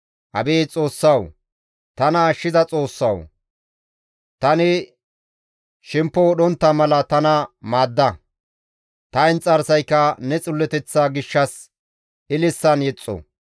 Abeet Xoossawu, tana ashshiza Xoossawu! Tani shemppo wodhontta mala tana maadda; ta inxarsayka ne xilloteththa gishshas ililisan yexxo.